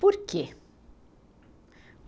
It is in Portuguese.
Por quê?